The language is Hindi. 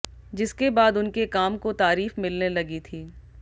जिसके बाद उनके काम को तारीफ मिलने लगी थी